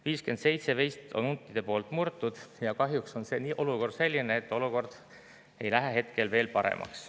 57 veist on huntide poolt murtud ja kahjuks on seis selline, et olukord ei lähe paremaks.